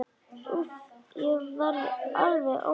Úff, ég verð alveg óður.